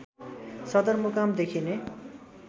सदरमुकाम देखिने